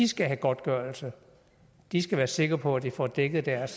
skal have godtgørelse at de skal være sikre på at de får dækket deres